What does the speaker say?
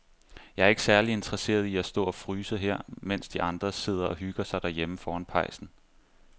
Jeg er ikke særlig interesseret i at stå og fryse her, mens de andre sidder og hygger sig derhjemme foran pejsen.